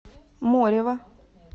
морева